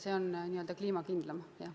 See on n-ö kliimakindlam lahendus, jah.